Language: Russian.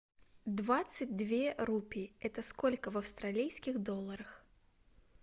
двадцать две рупии это сколько в австралийских долларах